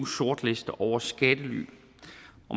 sortliste over skattely